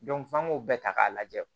f'an k'o bɛɛ ta k'a lajɛ